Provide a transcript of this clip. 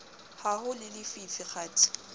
ha ho le lefifi kgathe